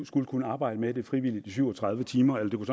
skulle kunne arbejde med det frivillige i syv og tredive timer